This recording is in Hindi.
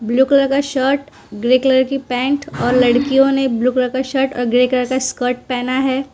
ब्लू कलर का शर्ट ग्रे कलर की पैंट और लड़कियों ने ब्लू कलर का शर्ट अ ग्रे कलर का स्कर्ट पहना है।